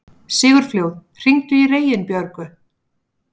Sigurfljóð, hringdu í Reginbjörgu.